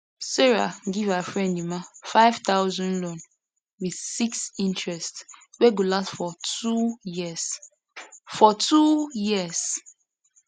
sarah give her friend emma 5000 loan with 6 interest wey go last for two years for two years